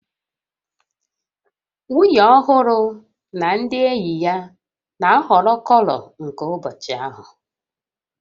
Nwunye ọhụrụ na ndị enyi ya na-ahọrọ kọlọ nke ụbọchị ahụ